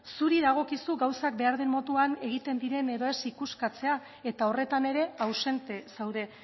zuri dagokizu gauzak behar den moduan egiten diren edo ez ikuskatzea eta horretan ere ausente zaude